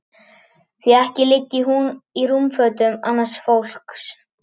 Því ekki liggi hún í rúmfötum annars fólks.